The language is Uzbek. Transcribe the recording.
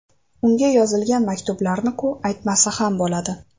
Unga yozilgan maktublarni-ku aytmasa ham bo‘ladi.